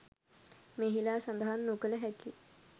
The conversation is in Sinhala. මෙහිලා සඳහන් නොකල හැකි